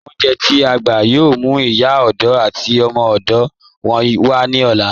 Awọn olúnjẹ̀ t'i a gbà yóò mú Ìyá òdò àti ọmọ òdò wọn wa ni ọ̀lá